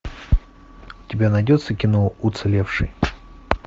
у тебя найдется кино уцелевший